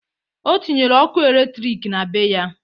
O tinyere okụ elektrik na be ya.